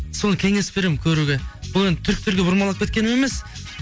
соны кеңес беремін көруге бұл енді түріктерге бұрмалап кеткенім емес